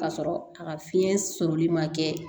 Ka sɔrɔ a ka fiɲɛ sɔrɔli ma kɛ